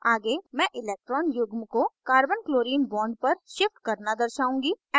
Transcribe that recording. आगे मैं electron युग्म को carbonchlorine bond पर shift करना दर्शाउंगी